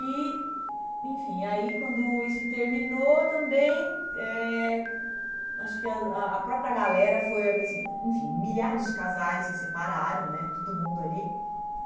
E, enfim, aí quando isso terminou também eh, acho que a a a própria galera foi assim, enfim, milhares de casais se separaram, né, todo mundo ali.